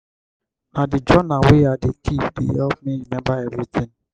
na di journal wey i dey keep dey help me rememba everytin.